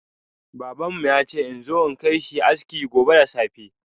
Baban mu ya ce in zo in kai shi aski gobe da safe.